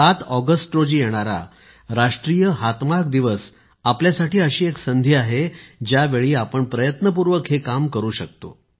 सात ऑगस्ट रोजी येणारा राष्ट्रीय हातमाग दिवस आपल्यासाठी अशी एक संधी आहे ज्यावेळी आपण प्रयत्नपूर्वक हे काम करु शकतो